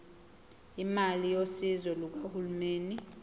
imali yosizo lukahulumeni